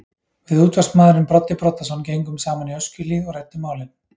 Við útvarpsmaðurinn Broddi Broddason gengum saman í Öskjuhlíð og ræddum málin.